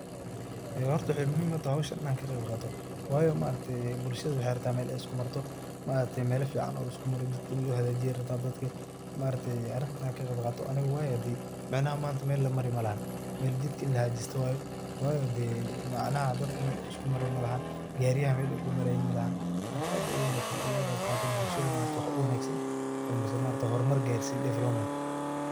Horta maxey muhim u tahay inan howshan ka qeyb qato, waayo bulshada waxey u bahan tahay mel ay isku marto . Maaragte melo fican oo laisku mari ayey rabta dadka ini lo hagajiyo dadka wayo arinta inan ka qeyb qato micnaha manta mel lamari malaha mel jidka ini lahagajisto weye wayo hade , micnaha dadka mel uu isku mari malahan, gariyaha mel ay ku marayin malaha ,marka aad ayey u wanagsantahy ini bulshada waxa u wanagsan oo hormar garsini development.